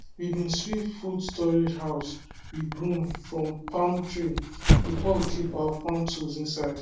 we been sweep food storage house with broom from palm tree before we keep our farm tool inside